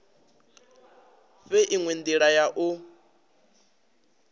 fhe inwe ndila ya u